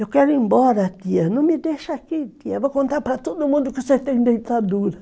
Eu quero ir embora, tia, não me deixa aqui, tia, vou contar para todo mundo que você tem dentadura.